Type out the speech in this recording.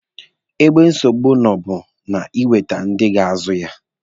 Ebe nsogbu nụ bụ na ị nwete ndị ga-azụ gị ya.